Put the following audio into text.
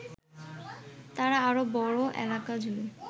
তারা আরো বড় এলাকজুড়ে